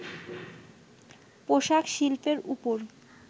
পোশাক শিল্পের ওপর